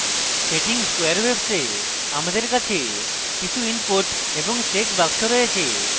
setting squarewaves a আমাদের কাছে কিছু input এবং check বাক্স রয়েছে